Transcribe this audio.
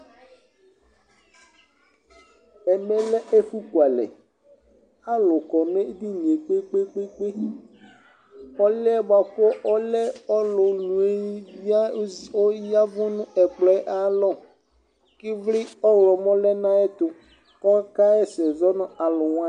ɛmɛ lɛ ɛfu ku alɛ alò kɔ no edinie kpe kpe kpe k'ɔluɛ boa kò ɔlɛ ɔlu nue ya aya vu no ɛkplɔɛ ayi alɔ ivli ɔwlɔmɔ lɛ no ayɛto k'ɔka ɣa ɛsɛ zɔ no alòwani